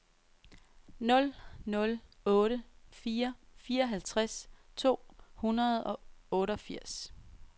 nul nul otte fire fireoghalvtreds to hundrede og otteogfirs